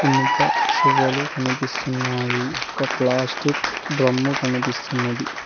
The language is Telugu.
ఇనుప సువ్వలు కనిపిస్తున్నాయి ఒక ప్లాస్టిక్ డ్రమ్ము కనిపిస్తున్నది.